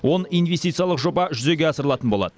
он инвестициялық жоба жүзеге асырылатын болады